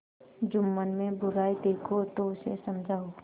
जुम्मन में बुराई देखो तो उसे समझाओ